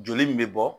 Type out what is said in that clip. Joli min bɛ bɔ